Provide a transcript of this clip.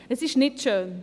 Das ist nicht schön.